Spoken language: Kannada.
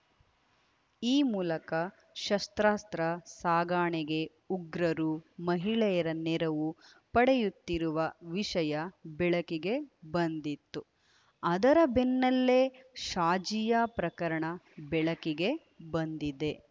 ಈ ಮೂಲಕ ಶಸ್ತ್ರಾಸ್ತ್ರ ಸಾಗಣೆಗೆ ಉಗ್ರರು ಮಹಿಳೆಯರ ನೆರವು ಪಡೆಯುತ್ತಿರುವ ವಿಷಯ ಬೆಳಕಿಗೆ ಬಂದಿತ್ತು ಅದರ ಬೆನ್ನಲ್ಲೇ ಶಾಜಿಯಾ ಪ್ರಕರಣ ಬೆಳಕಿಗೆ ಬಂದಿದೆ